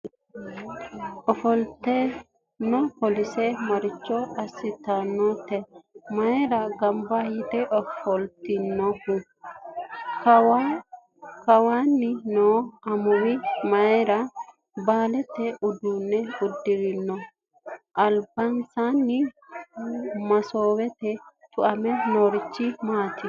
ofollitinno polisse maricho asitanoreeti? mayiirati ganbba yitte ofolitte noohu? kawaanni noo amuwi mayira baaleeta udanno udirinno? alibansaanni masoowete tuamme noorichi maati?